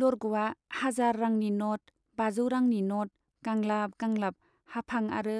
लरग'आ हाजार रांनि नट , बाजौ रांनि नट गांलाब गांलाब हाफां आरो